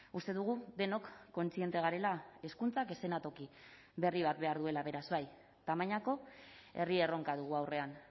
uste dugu denok kontziente garela hezkuntzak eszenatoki berri bat behar duela beraz bai tamainako herri erronka dugu aurrean